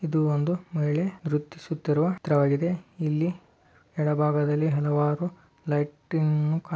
ಇದು ಒಂದು ಮಹಿಳೆ ನೃತ್ತಿಸುತ್ತಿರುವ ದೃಶ್ಯವಾಗಿದೆ ಇಲ್ಲಿ ಎಡಭಾಗದಲ್ಲಿ ಹಲವಾರು ಲೈಟಿಂಗ್--